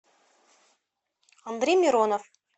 андрей миронов